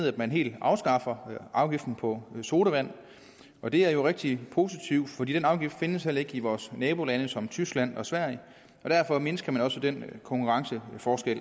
at man helt afskaffer afgiften på sodavand og det er jo rigtig positivt for den afgift findes heller ikke i vores nabolande som tyskland og sverige derfor mindsker man også den konkurrenceforskel